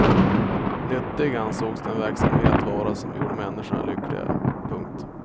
Nyttig ansågs den verksamhet vara som gjorde människorna lyckliga. punkt